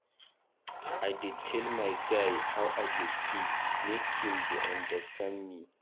I dey tell my guy how I dey feel make im dey understand me.